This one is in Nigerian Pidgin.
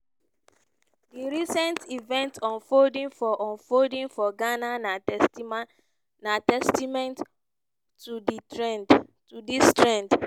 di recent events unfolding for unfolding for ghana na testament to dis trend.